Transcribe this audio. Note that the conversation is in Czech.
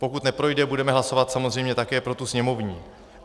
Pokud neprojde, budeme hlasovat samozřejmě také pro tu sněmovní.